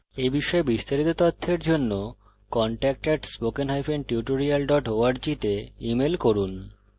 এই বিষয়ে বিস্তারিত তথ্যের জন্য contact at spoken hyphen tutorial dot org তে ইমেল করুন